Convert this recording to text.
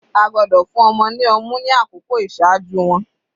A gbọ́dọ̀ fún ọmọ ní ọmú ni àkókò iṣaaju wọn.